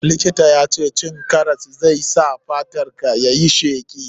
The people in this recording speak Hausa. Likitan ya ce cin karas zai sa fatar ka yayi sheki.